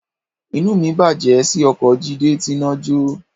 Inú mi bàjẹ́ sí oko Jídé tíná jọ́